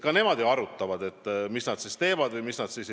Nad ju alles arutavad, mida nad teevad ja mida nad ei tee.